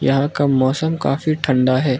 यहां का मौसम काफी ठंडा है।